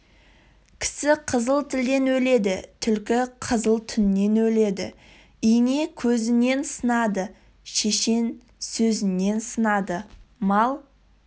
кісі қызыл тілден өледі түлкі қызыл жүннен өледі ине көзінен сынады шешен сөзінен сынады мал